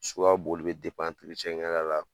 So ka boli bɛ kɛla la